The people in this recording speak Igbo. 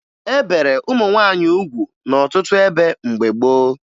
E bere ụmụ nwaanyị ugwu n'ọtụtụ ebe mgbe gboo